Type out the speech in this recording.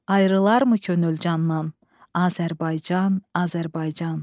Ayrılarmı könül candan, Azərbaycan, Azərbaycan.